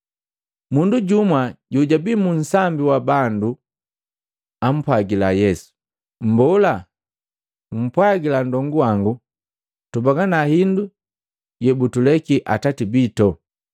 Mundu jumwa jojwabi mu nsambi wa bandu apwagila Yesu, “Mbola, mpwagila nndongu wangu tubagana hindu yebutuleki atate bito.”